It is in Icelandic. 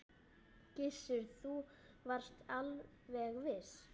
Gissur: Þú varst alveg viss?